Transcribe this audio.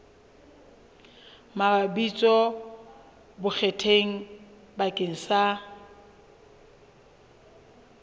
mabitso a bonkgetheng bakeng sa